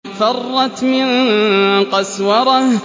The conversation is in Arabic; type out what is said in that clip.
فَرَّتْ مِن قَسْوَرَةٍ